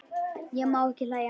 Ég má ekki hlæja.